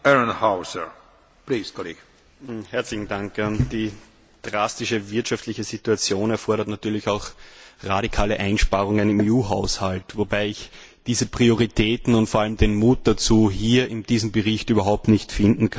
Herr Präsident! Die drastische wirtschaftliche Situation erfordert natürlich auch radikale Einsparungen im EU Haushalt, wobei ich diese Prioritäten und vor allem den Mut dazu hier in diesem Bericht überhaupt nicht finden kann.